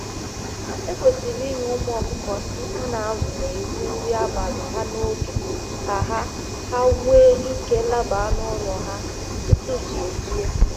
Ekwesịrị inye ụmụ akụko ndị a na azụ na ezi-nri abali ha n'oge ka ha ha nwee ike laba n'ụlọ ha tutu chi ejie